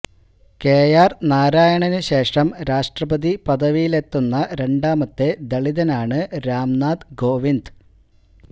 KR നാരായണനു ശേഷം രാഷ്ട്രപതി പദവിയിലെത്തുന്ന രണ്ടാമത്തെ ദളിതനാണ് രാം നാഥ് കോവിന്ദ്